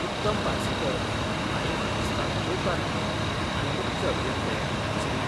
उत्तम पार्सेकर हांणी मानेस्तांक येवकार दिलो आनी मुख्य अभियंते श्री.